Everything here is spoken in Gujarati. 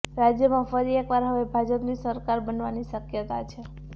રાજ્યમાં ફરી એક વાર હવે ભાજપની સરકાર બનવાની શક્યતા છે